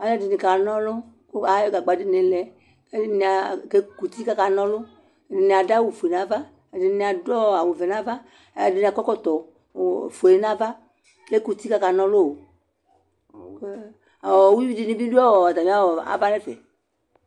Alʋ ɛdini kana ɔlʋ kʋ ayɔ gagba dini lɛ kʋ ɛkʋti kʋ akana ɔlʋ ɛdini adʋ awʋfue nʋ ava edini adʋ awʋvɛ nʋ ava kʋ alʋ ɛdini akɔ ɛkɔmɔtɔ ofue nʋ ava kʋ ekʋ uti kʋ akana ɔlʋ iwui dini bibi dʋ atmi ava nʋ ɛfɛ